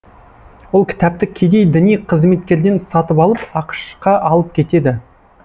ол кітапты кедей діни қызметкерден сатып алып ақш қа алып кетеді